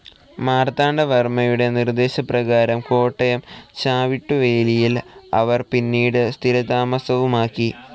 മാർത്താണ്ഡവർമ്മയുടെ നിർദ്ദേശപ്രകാരം കോട്ടയം ചവിട്ടുവേലിയിൽ അവർ പിന്നീട് സ്ഥിരതാമസവുമാക്കി.